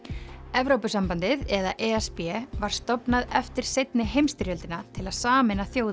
Evrópusambandið eða e s b var stofnað eftir seinni heimsstyrjöldina til að sameina þjóðir